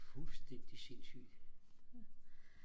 fuldstændig sindssygt